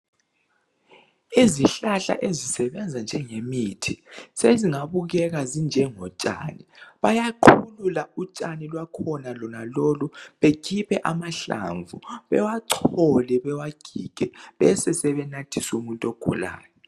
Izihlahla ezisebenza njengemithi sezingabukeka zinjengotshani. Bayaqhulula utshani lwakhona lonalolu bekhiphe amahlamvu bewachole bewagige bese sebenathisa umuntu ogulayo.